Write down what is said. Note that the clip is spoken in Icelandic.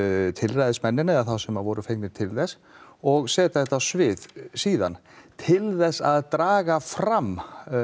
tilræðismennina eða þá sem voru fengnir til þess og setja þetta á svið síðan til þess að draga fram